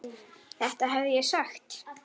Þetta hefði ég sagt.